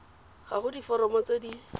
ga go diforomo tse di